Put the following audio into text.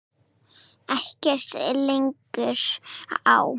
Ekkert liggur á